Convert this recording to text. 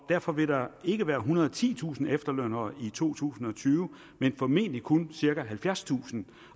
derfor vil der ikke være ethundrede og titusind efterlønnere i to tusind og tyve men formentlig kun cirka halvfjerdstusind